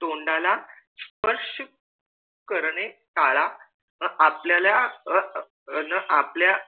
तोंडा ला स्पर्श करणे टाळा आपल्याला न आपल्या